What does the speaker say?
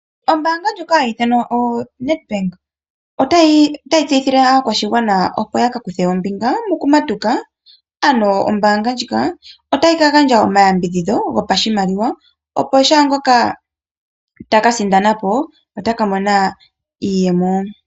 Ombanga ndjoka hayi ithanwa oNed Bank ota yi tseyithile aakwashigwana opo ya kakuthe ombinga mokumatuka ano ombanga ndjika ota yika gandja omayambidhidho gopashimaliwa opo shaangoka taka sindanapo ota ka mona iiyemo.